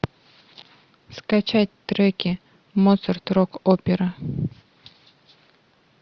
скачать треки моцарт рок опера